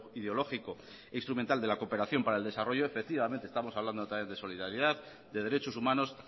ideológico e instrumental de la cooperación para el desarrollo efectivamente estamos hablando otra vez de solidaridad de derechos humanos